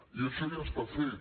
i això ja està fet